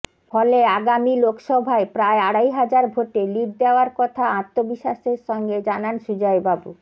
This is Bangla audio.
ফলে আগামী লোকসভায় প্রায় আড়াই হাজার ভোটে লিড দেওয়ার কথা আত্মবিশ্বাসের সঙ্গে জানান সুজয়বাবু